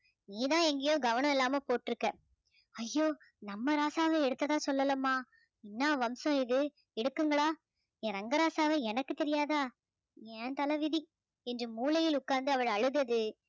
நீதான் எங்கையோ கவனம் இல்லாம போட்டுருக்க ஐயோ நம்ம ராசாவ எடுத்ததா சொல்லலம்மா என்னா வம்சம் இது எடுக்கும்களா என் ரங்கராசாவ எனக்கு தெரியாதா என் தலைவிதி என்று மூலையில் உட்கார்ந்து அவள் அழுதது